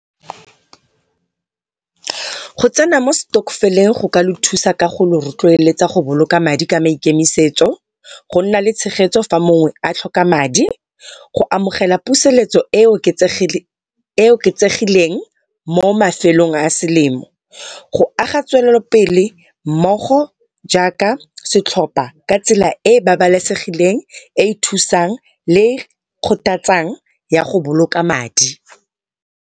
Go tsena mo stokfeleng go ka lothusa ka go lo rotloeletsa go boloka madi ka maikemisetso, go nna le tshegetso fa mongwe a tlhoka madi, go amogela puseletso e oketsegileng mo mafelong a selemo. Go aga tswelopele mmogo jaaka setlhopa ka tsela e e babalesegileng e thusang le e kgothatsang ya go boloka madi.